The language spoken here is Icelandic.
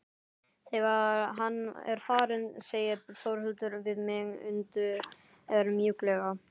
Þegar hann er farinn segir Þórhildur við mig undur mjúklega.